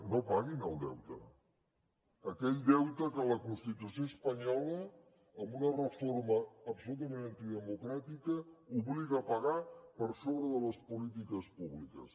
no paguin el deute aquell deute que la constitució espanyola amb una reforma absolutament antidemocràtica obliga a pagar per sobre de les polítiques públiques